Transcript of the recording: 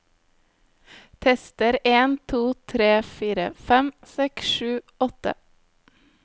Tester en to tre fire fem seks sju åtte